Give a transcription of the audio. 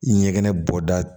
Ɲɛgɛn bɔda